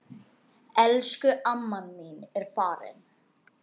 Elsku amma mín er farin.